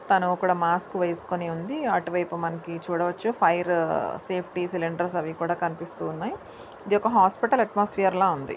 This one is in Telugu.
తను అక్కడ మాస్క్ వేసుకొని ఉంది. అటువైపు మనకి చూడవచ్చు ఫైర్ సేఫ్టీ సిలిండర్స్ అవి కనిపిస్తూ ఉన్నాయి. ఇది ఒక హాస్పటల్ అట్మాస్ఫియర్ .